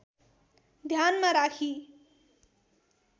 ध्यानमा राखी